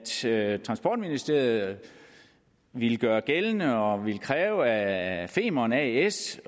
sagde at transportministeriet ville gøre gældende og ville kræve af femern as